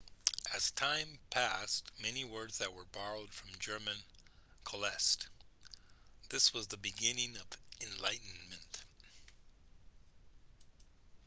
as time passed many words that were borrowed from german coalesced this was the beginning of enlightenment